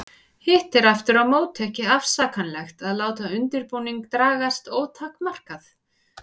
Hitt er aftur á móti ekki afsakanlegt að láta undirbúning dragast ótakmarkað.